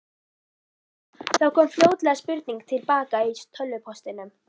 Það kom fljótlega spurning til baka í tölvupóstinum.